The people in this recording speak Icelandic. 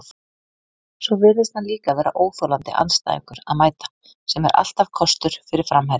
Svo virðist hann líka vera óþolandi andstæðingur að mæta, sem er alltaf kostur fyrir framherja.